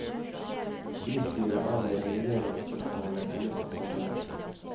Bystyret avgjør reguleringsspørsmålet i løpet av sommeren.